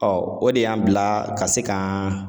Ɔ o de y'an bila ka se kan